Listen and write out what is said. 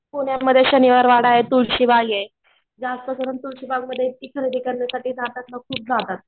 पुण्यामधी शनिवार वाडाये, तुळशीबागे. जास्त करून तुळशी बाग मध्ये इतकी खरेदी करायला जातात ना खूप जातात.